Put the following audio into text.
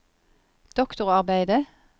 doktorarbeidet